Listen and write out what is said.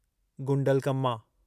Gundlakamma